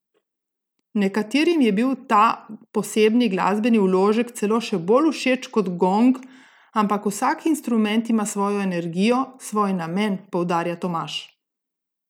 Nekaterim je bil ta posebni glasbeni vložek celo še bolj všeč kot gong, ampak vsak instrument ima svojo energijo, svoj namen, poudarja Tomaž.